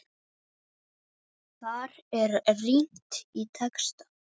Þar er rýnt í texta.